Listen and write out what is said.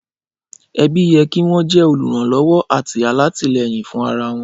Ẹbí yẹ kin wọn jẹ òlúranlọwọ ati atilẹyin fun ara wọn.